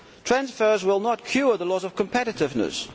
Transfers will not cure the loss of competitiveness.